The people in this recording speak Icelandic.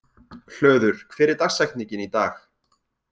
Hlöður, hver er dagsetningin í dag?